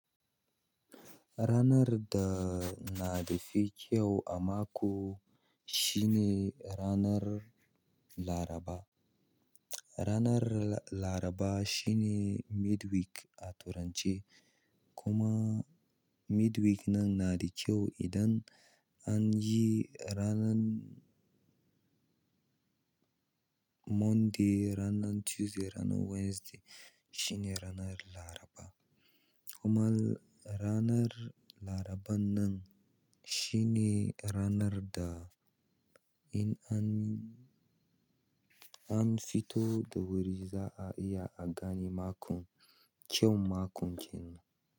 Ranar da na dafi kyau a mako shine ranar Laraba. Ranar Laraba shine midweek a turance kuma midweek nan na da kyau idan an yi ranan Monday, ranan Tuesday, ranan Wednesday shine ranar Laraba. Kuma ranar laraban nan shine ranar da in an, an fito da wuri za a iya a gane makon, kyaun makon kenan.